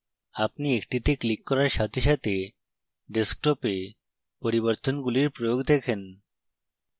আপনি একটিতে click করার সাথে সাথে desktop এ পরিবর্তনগুলির প্রয়োগ দেখেন